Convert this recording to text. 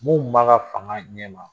Mun kun b'a ka fanga ɲɛ ma.